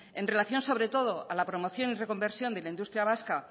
en relación sobre todo a la promoción y reconversión de la industria vasca